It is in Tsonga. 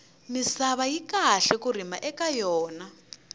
misava yi kahle ku rima eka yona